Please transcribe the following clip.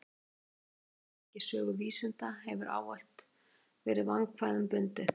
Hugtakið bylting í sögu vísinda hefur ávallt verið vandkvæðum bundið.